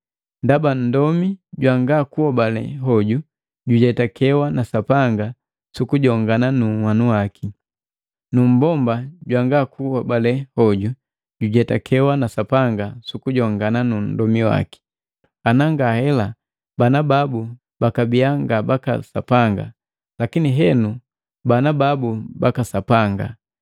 Ndaba nndomi jwanga kuhobale hoju jujetakekewa na Sapanga sukujongana nunhwanu waki, nu mmbomba jwangakuhobale hoju jojujetakewa na Sapanga sukujongana nundomi waki. Ana nga hela bana babu bakabiya nga baka Sapanga, lakini henu bana babu baka Sapanga.